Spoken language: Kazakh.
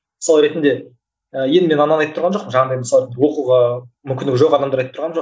мысал ретінде ы енді мен ананы айтып тұрған жоқпын жаңағындай мысалы оқуға мүмкіндігі жоқ адамдар айтып тұрғаным жоқ